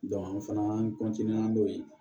an fana n'o ye